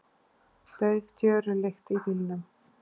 Dauf tjörulykt í bílnum.